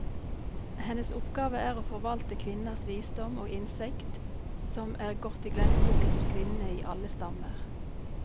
Hennes oppgave er å forvalte kvinners visdom og innsikt, som er gått i glemmeboken hos kvinnene i alle stammer.